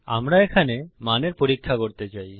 আমরা এখানে মানের পরীক্ষা করতে চাই